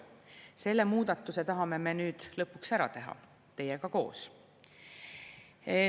Selle muudatuse tahame me nüüd lõpuks ära teha teiega koos.